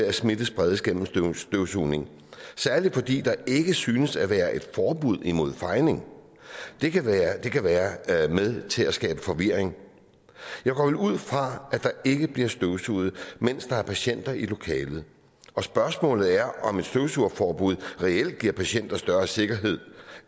at smitte spredes gennem støvsugning særlig fordi der ikke synes at være et forbud imod fejning det kan være kan være med til at skabe forvirring jeg går vel ud fra at der ikke bliver støvsuget mens der er patienter i lokalet og spørgsmålet er om et støvsugeforbud reelt giver patienter større sikkerhed